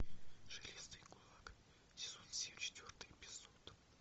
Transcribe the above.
железный кулак сезон семь четвертый эпизод